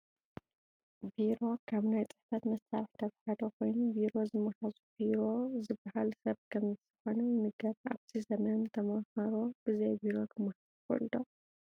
ቢሮ ካብ ናይ ፅሕፈት መሳርሕታት ሓደ ኮይኑ ቢሮ ዝመሃዘ ቡሮ ዝበሃል ሰብ ከምዝኾነ ይንገር፡፡ ኣብዚ ዘመን ተመሃሮ ብዘይ ቢሮ ክመሃሩ ይኽእሉ ዶ?